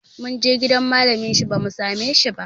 Mun je gidan malamin shi bamu same shi ba